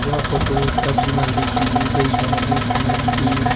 यह फोटो एक सब्जी मंडी की ली गई है इसमें बी--